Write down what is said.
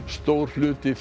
stór hluti